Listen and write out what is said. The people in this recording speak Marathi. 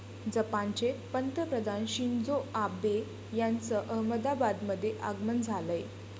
जपानचे पंतप्रधान शिंजो आबे यांचं अहमदाबादमध्ये आगमन झालंय.